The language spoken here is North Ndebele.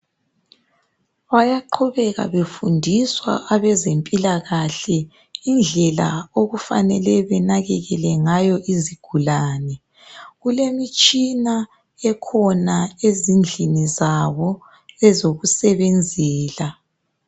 Bayaqhubeka befundiswa abezempilakahle indlela okufanele benakekele ngayo izigulane. Kulemitshina ekhona ezindlini zabo ezokusebenzela.